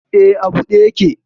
E, a buɗe yake.